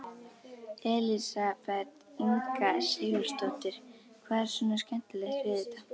Elísabet Inga Sigurðardóttir: Hvað er svona skemmtilegt við þetta?